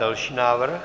Další návrh.